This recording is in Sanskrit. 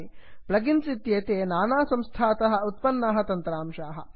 प्लगिन्स् इत्येते नानासंस्थातः उत्पन्नाः तन्त्राशाः